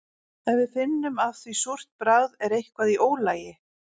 Ef við finnum af því súrt bragð er eitthvað í ólagi.